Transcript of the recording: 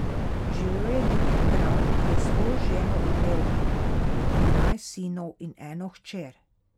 Živel je neki kralj, ki je s svojo ženo imel dvanajst sinov in eno hčer.